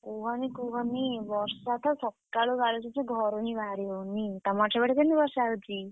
କୁହନି କୁହନି ବର୍ଷା ତ ସ, ସକାଳୁ ଗାଳୁଛି ଯେ ଘରୁ ହିଁ ବାହାରି ହଉନି, ତମର ସେପଟେ କେମିତି ବର୍ଷା ହଉଛି?